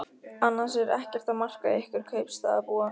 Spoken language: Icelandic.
Annars er ekkert að marka ykkur kaupstaðarbúa.